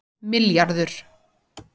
milljarður